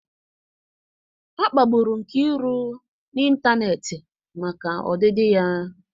A kpagburu Nkiru n'ịntanetị maka ọdịdị ya.